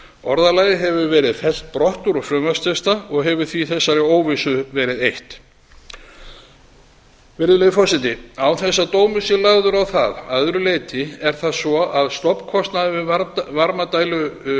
orðalagið hefur verið fellt brott úr frumvarpstexta og hefur því þessari óvissu verið eytt virðulegi forseti án þess að dómur sé lagður á það að öðru leyti er það svo að stofnkostnaður við